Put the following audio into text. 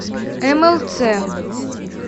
млц